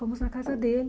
Fomos na casa dele.